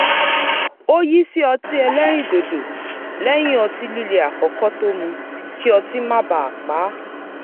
ó yí sí ọtí ẹlẹ́rìn dòdò lẹ́yìn ọtí líle àkọ́kọ́ tó mu kí otí má baà pa á